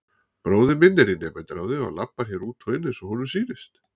Bróðir minn er í nemendaráði og labbar hér út og inn eins og honum sýnist.